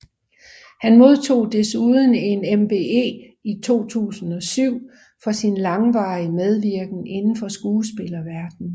Han modtog desuden en MBE i 2007 for sin langvarige medvirken indenfor skuespillerverdenen